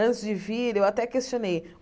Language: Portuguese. Antes de vir, eu até questionei.